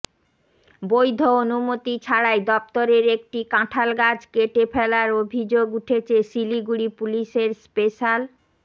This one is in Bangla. বৈধ অনুমতি ছাড়াই দফতরের একটি কাঁঠাল গাছ কেটে ফেলার অভিযোগ উঠেছে শিলিগুড়ি পুলিশের স্পেশাল